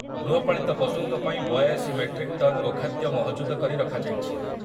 ଗୃହପାଳିତ ପଶୁଙ୍କ ପାଇଁ ବୟାଅଶି ମେଟ୍ରିକ ଟନ ଗୋଖାଦ୍ଯ ମହଜୁଦ କରି ରଖାଯାଇଛି।